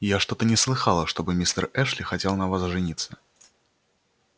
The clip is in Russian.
я что-то не слыхала чтоб мистер эшли хотел на вас жениться